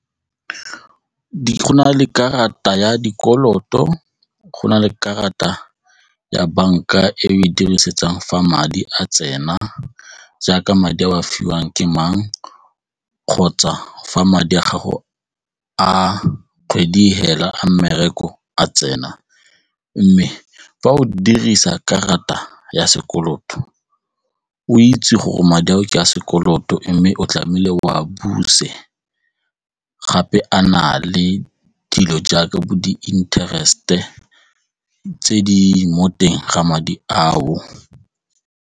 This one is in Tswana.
Go na le karata ya dikoloto, go na le karata ya banka e o e dirisetsang fa madi a tsena jaaka madi a o a fiwang ke mang kgotsa fa madi a gago a kgwedi e fela a mmereko a tsena mme fa o dirisa karata ya sekoloto, o itse gore madi ao ke a sekoloto mme o tlamehile o a buse gape a na le dilo jaaka bo di-interest-e tse di mo teng ga madi ao.